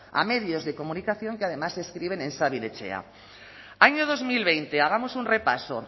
a medios de comunicación que además escriben en sabin etxea año dos mil veinte hagamos un repaso